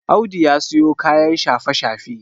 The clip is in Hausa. Audu ya siyo kayan shafe-shafe